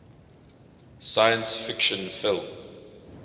science fiction film